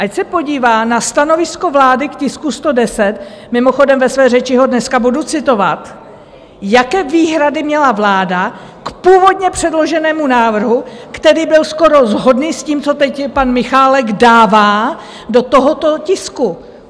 Ať se podívá na stanovisko vlády k tisku 110, mimochodem, ve své řeči ho dneska budu citovat, jaké výhrady měla vláda k původně předloženému návrhu, který byl skoro shodný s tím, co teď pan Michálek dává do tohoto tisku.